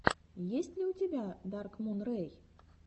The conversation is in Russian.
есть ли у тебя даркмун рэй